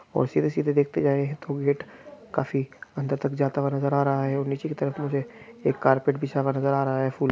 और सीधे सीधे देखते जाए तो गेट काफी अंदर तक जाता हुआ नज़र आ रहा हैं और नीचे की तरफ मे एक कार्पेट बिछा हुआ नज़र आ रहा हैं फूल--